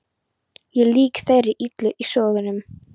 Ég er lík þeirri illu í sögunum.